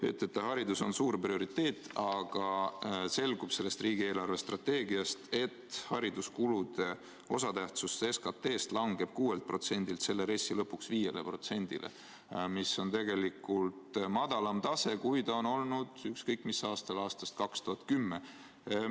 Te ütlete, et haridus on suur prioriteet, aga selgub sellest riigi eelarvestrateegiast, et hariduskulude osatähtsus SKT-st langeb 6%-lt selle RES-i lõpuks 5%-le, mis on tegelikult madalam tase, kui on olnud ükskõik mis aastal alates 2010. aastast.